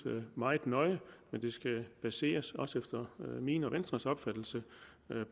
meget nøje men det skal baseres også efter min og venstres opfattelse